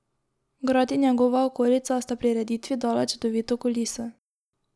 Grad in njegova okolica sta prireditvi dala čudovito kuliso.